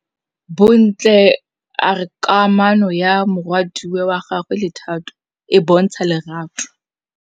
Bontle a re kamanô ya morwadi wa gagwe le Thato e bontsha lerato.